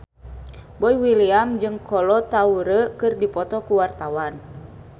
Boy William jeung Kolo Taure keur dipoto ku wartawan